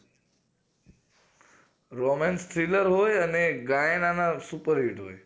romance thriller હોય અને ગાયન આના super hit હોય